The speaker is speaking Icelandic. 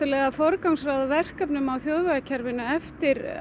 að forgangsraða verkefni á þjóðvegakerfinu eftir